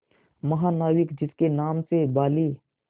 महानाविक जिसके नाम से बाली